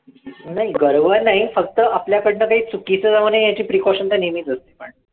नाही गर्व नाही फक्त आपल्याकडनं काही चुकीचं जाऊ नये याची precausion तर नेहमीच असते पण